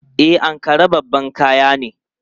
E, Ankara babban kaya ne.